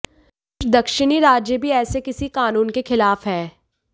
कुछ दक्षिणी राज्य भी ऐसे किसी कानून के खिलाफ हैं